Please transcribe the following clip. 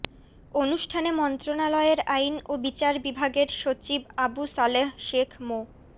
অনুষ্ঠানে মন্ত্রণালয়ের আইন ও বিচার বিভাগের সচিব আবু সালেহ শেখ মো